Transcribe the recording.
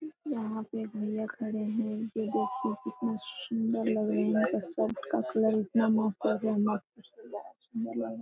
यहाँ पे एक भैया खड़े है ये देखिए कितना सुन्दर लग रहे है इसका शर्ट का कलर इतना मस्त हे की मत पूछिए।